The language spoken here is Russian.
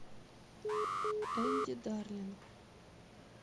энди дарлинг